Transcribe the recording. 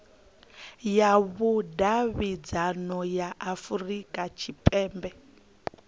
ya vhudavhidzano ya afurika tshipembe